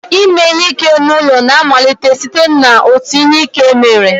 Ime ihe ike n'ụlọ na-amalite site n'otu ihe ike mere